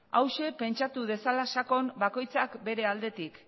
hauxe pentsatu dezala sakon bakoitzak bere aldetik